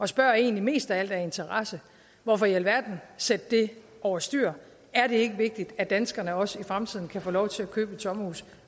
spørger egentlig mest af alt af interesse hvorfor i alverden sætte det over styr er det ikke vigtigt at danskerne også i fremtiden kan få lov til at købe et sommerhus